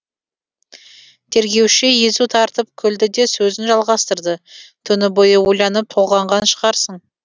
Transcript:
тергеуші езу тартып күлді де сөзін жалғастырды түні бойы ойланып толғанған шығарсың